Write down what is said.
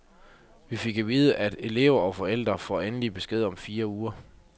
Vi fik at vide, at elever og forældre får endelig besked om fire uger.